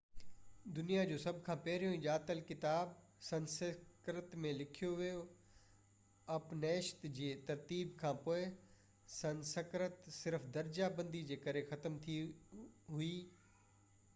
دنيا جو سڀ کان پهريون ڄاتل ڪتاب سنسڪرت ۾ لکيو ويو اپنيشد جي ترتيب کانپوءِ سنسڪرت صرف درجا بندي جي ڪري ختم ٿي وئي